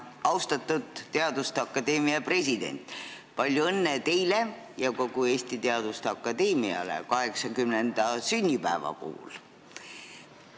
Austatud teaduste akadeemia president, palju õnne teile ja kogu Eesti Teaduste Akadeemiale 80. sünnipäeva puhul!